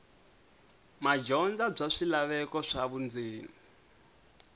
madyondza bya swilaveko swa vundzeni